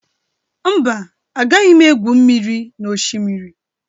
Mba, agaghị m egwu mmiri na Oshimiri.